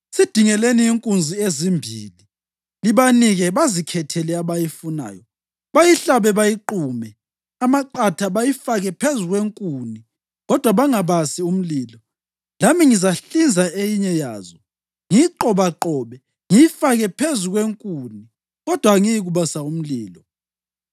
Sidingeleni inkunzi ezimbili. Libanike bazikhethele abayifunayo bayihlabe bayiqume amaqatha bayifake phezu kwenkuni kodwa bangabasi umlilo. Lami ngizahlinza eyinye yazo ngiyiqobaqobe ngiyifake phezu kwenkuni kodwa angiyikubasa umlilo.